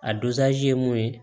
A ye mun ye